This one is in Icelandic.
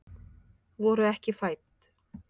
Voru ekki fædd